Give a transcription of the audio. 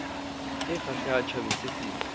e kgahlehang tjhabeng se setsho